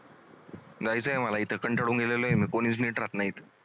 जायचं मला इथं कंटाळून गेलेलो आहे मी कोणीच नीट राहत नाहीत.